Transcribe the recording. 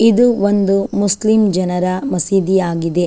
ಇದು ಒಂದು ಮುಸ್ಲಿಂ ಜನರ ಮಸೀದಿಯಾಗಿದೆ.